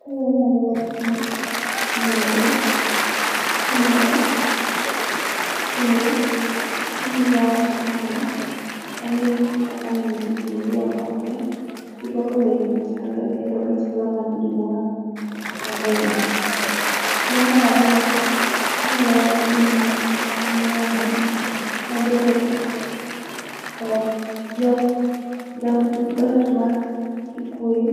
Kae anyalo wacho ni nyombo timore, kendo gimomio awacho kamae, enni akaka nyiri giendi orwakore. Girwako lewni machalre kendo gichalo mangi mor mogundho. Kendo marariyo, anyalo wacho ni mae en nyombo, mabende dho jo dho dhot makikuyu